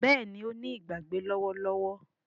Béèni o ní Ìgbàgbé lówó lówó